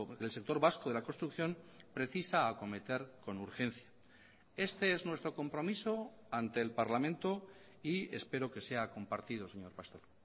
el sector vasco de la construcción precisa acometer con urgencia este es nuestro compromiso ante el parlamento y espero que sea compartido señor pastor